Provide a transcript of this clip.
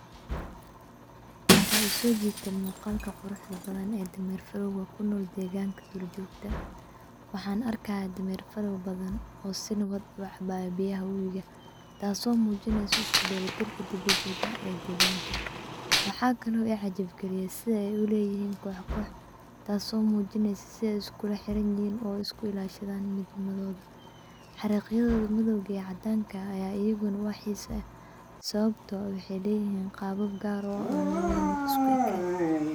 Waxaa isojiite muuqalka quruxda badan ee dameer farowga kunool deeganka duur jogta. Waxaan arkaaya dameer farow badan oo si nawad u cabaya biyaha wabiga taaso muujinaysa iskudelatirka dabiiiciga e deeganka. Waxaa kalo i cajab galiye siday u leeyihin kox kox taaso muujinaysa siday iskulaxiranyihin oo isku ilaashadan midnimadooda xariqyadooda madowga iyo cadanka aya ayadana wax xiisa eh sababto ah qaabab gaar ah oo lawada mid isku ekeen.